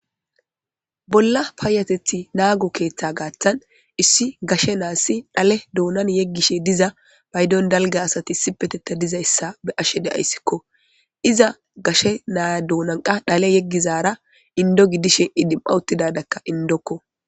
bolla paayateti naago keeththa gaaththan issi gashe naassi dhale doonan yeggishe diza paydon dalga asati sipetetta dizayssa be ashe deayssikko iza gashe naaya doonanqa dhale yeggizara indozi dishe idima uttidarakka indokko